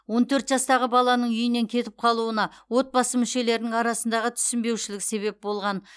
он төрт жастағы баланың үйінен кетіп қалуына отбасы мүшелерінің арасындағы түсінбеушілік себеп болған